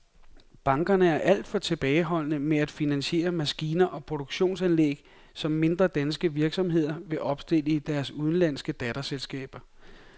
Bankerne er alt for tilbageholdende med at finansiere maskiner og produktionsanlæg, som mindre danske virksomheder vil opstille i deres udenlandske datterselskaber.